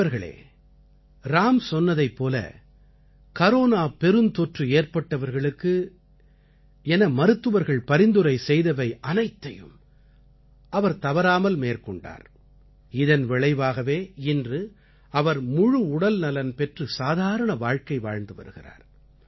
நண்பர்களே ராம் சொன்னதைப் போல கரோனா பெருந்தொற்று ஏற்பட்டவர்களுக்கு என மருத்துவர்கள் பரிந்துரை செய்தவை அனைத்தையும் அவர் தவறாமல் மேற்கொண்டார் இதன் விளைவாகவே இன்று அவர் முழு உடல்நலன் பெற்று சாதாரண வாழ்க்கை வாழ்ந்து வருகிறார்